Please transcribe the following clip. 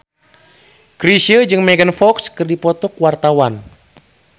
Chrisye jeung Megan Fox keur dipoto ku wartawan